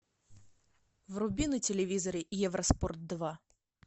вруби на телевизоре евроспорт два